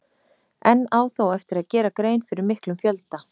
Enn á þó eftir að gera grein fyrir miklum fjölda.